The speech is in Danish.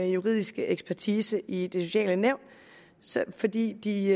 juridiske ekspertise i de sociale nævn fordi de